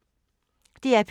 DR P2